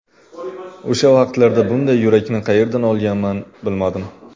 O‘sha vaqtlarda bunday yurakni qayerdan olganman, bilmadim.